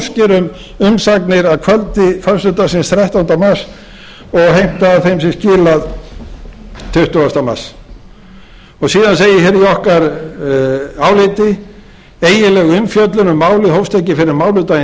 um umsagnir að kvöldi föstudagsins þrettánda mars og heiðri að þeim sé skilað tuttugasta mars síðan segir hér í okkar álit eiginleg umfjöllun um málið hófst ekki fyrr en mánudaginn